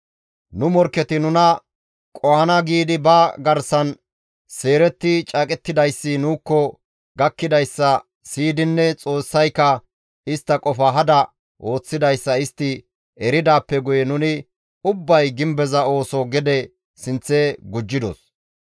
Nu morkketi nuna qohana giidi ba garsan seeretti caaqettidayssi nuukko gakkidayssa siyidinne Xoossayka istta qofa hada ooththidayssa istti eridaappe guye nuni ubbay gimbeza ooso gede sinththe gujjidos.